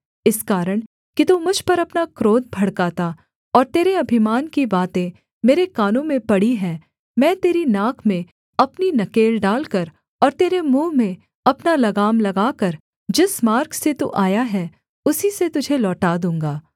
इस कारण कि तू मुझ पर अपना क्रोध भड़काता और तेरे अभिमान की बातें मेरे कानों में पड़ी हैं मैं तेरी नाक में अपनी नकेल डालकर और तेरे मुँह में अपना लगाम लगाकर जिस मार्ग से तू आया है उसी से तुझे लौटा दूँगा